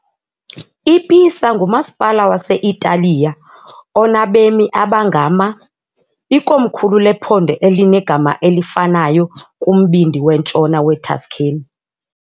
I-Pisa ngumasipala wase-Italiya onabemi abangama , ikomkhulu lephondo elinegama elifanayo kumbindi wentshona weTuscany.